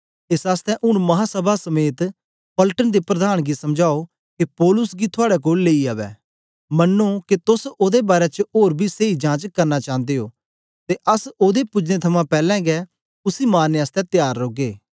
एस आसतै ऊन महासभा समेत पलटन दे प्रधान गी समझाओ के पौलुस गी थुआड़े कोल लेई अवै मन्नो के तोस ओदे बारै च ओर बी सेई जांच करना चांदे ओ ते अस ओदे पुजने थमां पैलैं गै उसी मारने आसतै त्यार रौगे